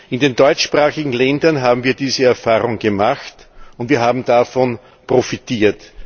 In den deutschsprachigen Ländern haben wir diese Erfahrung gemacht, und wir haben davon profitiert.